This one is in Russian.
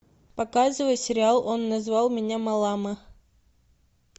показывай сериал он назвал меня малала